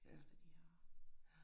Ja, ja